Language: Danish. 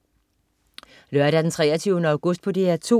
Lørdag den 23. august - DR 2: